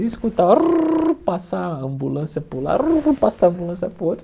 E escutar aruu... passar a ambulância por lá, aruu passar a ambulância por outro.